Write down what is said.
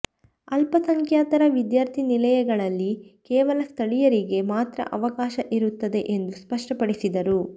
ಅಲ್ಪಸಂಖ್ಯಾತರ ವಿದ್ಯಾರ್ಥಿ ನಿಲಯಗಳಲ್ಲಿ ಕೇವಲ ಸ್ಥಳೀಯರಿಗೆ ಮಾತ್ರ ಅವಕಾಶ ಇರುತ್ತದೆ ಎಂದು ಸ್ಪಷ್ಟಪಡಿಸಿದರು